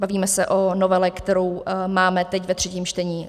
Bavíme se o novele, kterou máme teď ve třetím čtení.